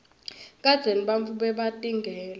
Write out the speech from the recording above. kadzeni bantfu bebatingela